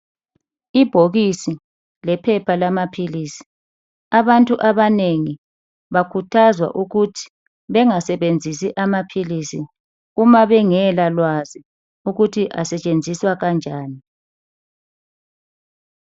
Ibhokisi lephepha lamaphilisi abantu abanengi bakhuthazwe ukuth bengasebenzisa amaphilisi uma bengela lwazi lokuwasebenzisa.